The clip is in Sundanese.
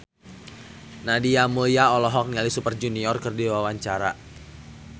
Nadia Mulya olohok ningali Super Junior keur diwawancara